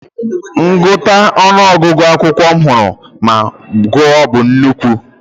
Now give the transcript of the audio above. Ngụkọta ọnụ ọgụgụ akụkọ m hụworo ma gụọ bụ nnukwu.